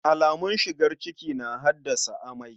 Alamun shigar ciki na haddasa amai.